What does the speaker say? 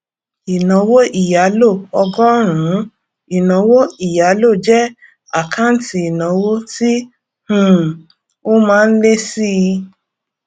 ìnáwó ìyálò ọgọrùnún ìnáwó ìyálò jẹ àkáǹtì ìnáwó tí um ó má ń lé síi